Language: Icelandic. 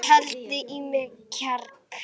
Þetta var erfiður dagur.